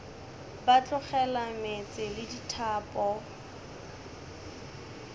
ba tlogela meetse le dithapo